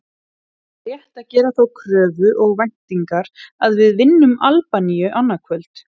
Er rétt að gera þá kröfu og væntingar að við vinnum Albaníu annað kvöld?